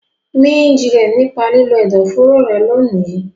Mí jinlẹ̀ nípa lílo ẹ̀dọ̀foro rẹ lónìí.